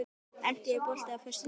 Eníta, er bolti á föstudaginn?